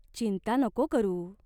चिंता नको करू.